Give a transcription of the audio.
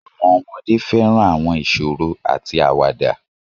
Àwọn ọmọdé fẹ́ràn àwọn ìṣòro àti àwàdà